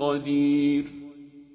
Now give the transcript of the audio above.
قَدِيرٌ